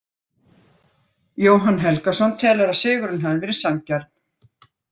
Jóhann Helgason telur að sigurinn hafi verið sanngjarn.